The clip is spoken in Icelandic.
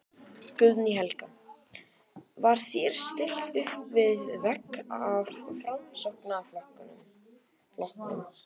Guðný Helga: Var þér stillt uppvið vegg af Framsóknarflokknum?